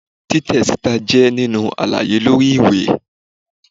titẹ sita jé nini àlàyé lori ìwé